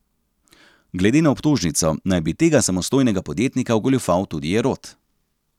Glede na obtožnico naj bi tega samostojnega podjetnika ogoljufal tudi Jerot.